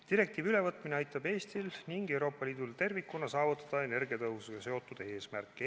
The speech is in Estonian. Direktiivi ülevõtmine aitab Eestil ning Euroopa Liidul tervikuna saavutada energiatõhususega seotud eesmärke.